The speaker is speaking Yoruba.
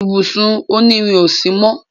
ibùsùn òní rìn ọ sí mọ